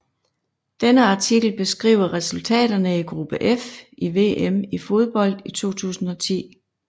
Denne artikel beskriver resultaterne i gruppe F i VM i fodbold 2010